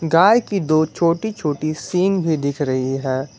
गाय की दो छोटी छोटी सिंग भी दिख रही है।